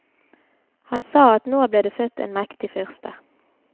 Han sa at nå ble det født en mektig fyrste.